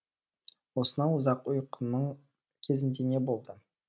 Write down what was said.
осынау ұзақ ұйқының кезінде не болды